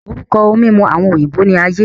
Orúkọ ohun mímu àwọn òyìnbó ní aye